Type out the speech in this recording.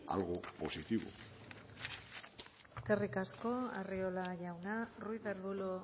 algo positivo eskerrik asko arriola jauna ruiz de arbulo